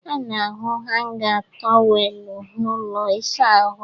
A na-ahụ hanga tọweelụ n'ụlọ ịsaahụ